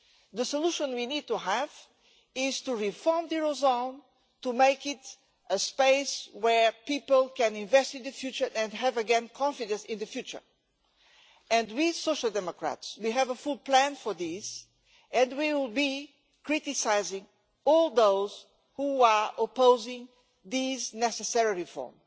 The solution we need to have is to reform the eurozone to make it a space where people can invest in the future and have again confidence in the future, and we Social Democrats have a full plan for this, and will be criticising all those who are opposing this necessary reform.